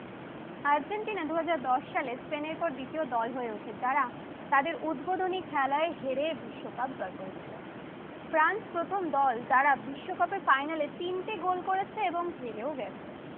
Argentina দুই হাজার দশ সালে স্পেন এর পর দিত্বীয় দল হয়ে ওঠে। তারা তাদের উদ্বাধনি খেলায় হেরে বিশ্ব কাপ জয় করেছিলো, ফ্রান্স প্রথম দল যারা বিশ্বকাপে তিনটি গোল করেছে এবং হেরে গেছে।